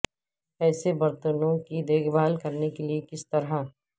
ایسے برتنوں کی دیکھ بھال کرنے کے لئے کس طرح